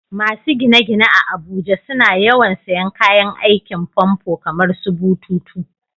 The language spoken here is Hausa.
Masu gine-gine a Abuja suna yawan sayen kayan aikin famfo kamarsu bututu.